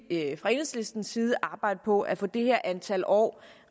fra enhedslistens side arbejde på at få det her antal år